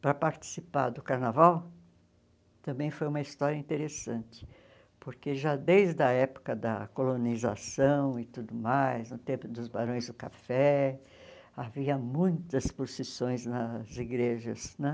para participar do carnaval, também foi uma história interessante, porque já desde a época da colonização e tudo mais, no tempo dos Barões do Café, havia muitas procissões nas igrejas né.